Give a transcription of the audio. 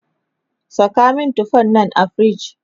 Saka min tufan nan a fridge!